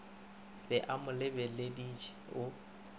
be a mo leleditše o